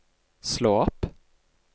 slå opp